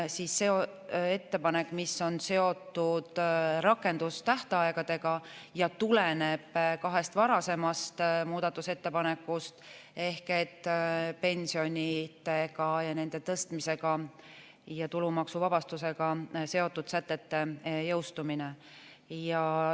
See on ettepanek, mis on seotud rakendustähtaegadega ja tuleneb kahest varasemast muudatusettepanekust ehk pensionide ja nende tõstmisega ning tulumaksuvabastusega seotud sätete jõustumine.